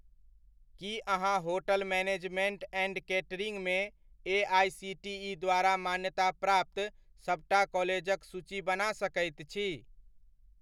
की अहाँ hotel management and केटरिंगमे AICTE द्वारा मान्यताप्राप्त सबटा कॉलेजक सूची बना सकैत छी?